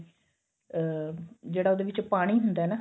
ਅਹ ਜਿਹੜਾ ਉਹਦੇ ਵਿੱਚ ਪਾਣੀ ਹੁੰਦਾ ਨਾ